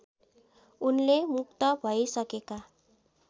उनले मुक्त भैसकेका